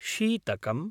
शीतकम्